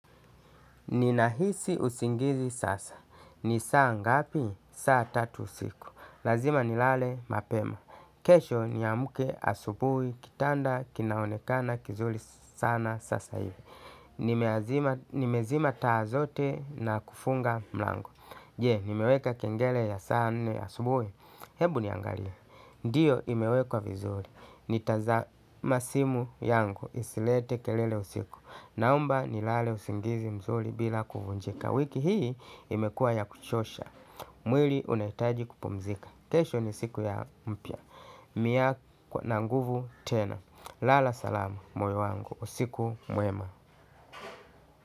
Nina hisi usingizi sasa. Ni saa ngapi? Ni saa tatu usiku. Lazima nilale mapema. Kesho niamke asubuhi kitanda kinaonekana kizuri sana sasa hivi nimeazima. Nimezima taa zote na kufunga mlango. Je, nimeweka kengele ya saa nne asubuhi. Hebu niangalie. Ndio imewekwa vizuri. Nitaza na simu yangu. Isilete kelele usiku. Naomba nilale usingizi mzuri bila kuvunjika. Wiki hii imekua ya kuchosha. Mwili unahitaji kupumzika. Kesho ni siku ya mpya Mia kue na nguvu tena. Lala salama moyo wangu. Usiku mwema.